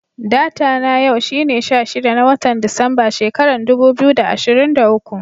Data na yau shine sha shida, na wotan Disamba, shekaran dubu biyu da ashirin da uku.